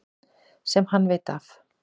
Sem hann veit af.